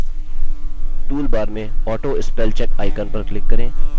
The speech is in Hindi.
toolbar में autospellcheck icon पर click करें